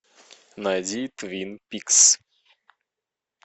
найди твин пикс